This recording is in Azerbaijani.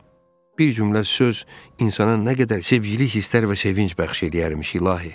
Bir cümlə söz insana nə qədər sevgilik hisslər və sevinc bəxş eləyərmiş, İlahi.